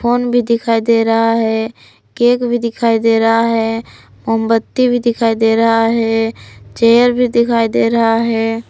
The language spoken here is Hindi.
फोन भी दिखाई दे रहा है केक भी दिखाई दे रहा है मोमबती भी दिखाई दे रहा है चेयर भी दिखाई दे रहा है।